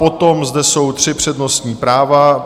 Potom zde jsou tři přednostní práva.